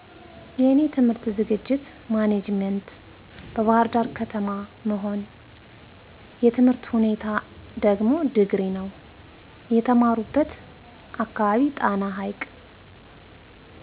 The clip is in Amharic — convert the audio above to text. የእኔ ትምህርት ዝግጅት ማኔጀመንት በባህርዳር ከተማ መሆን የትምህርት ሁኔታ ደግሞ ድግሪ ነው። የተማሩበት አካባቢ ጣና ሀይቅ